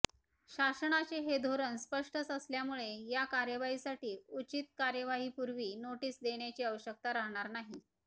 शासनाचे हे धोरण स्पष्टच असल्यामुळे या कार्यवाहीसाठी उचित कार्यवाहीपूर्व नोटीस देण्याची आवश्यकता राहणार नाही